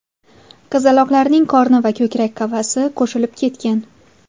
Qizaloqlarning qorni va ko‘krak qafasi qo‘shilib ketgan.